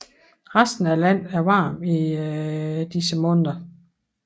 Resten af landet er varmt i disse måneder